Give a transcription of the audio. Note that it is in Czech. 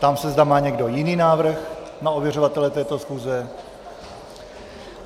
Ptám se, zda má někdo jiný návrh na ověřovatele této schůze?